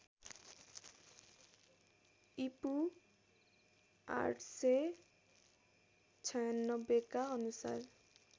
ईपू ८९६ का अनुसार